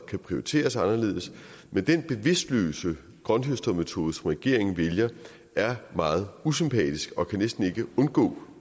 kan prioriteres anderledes men den bevidstløse grønthøstermetode som regeringen vælger er meget usympatisk og kan næsten ikke undgå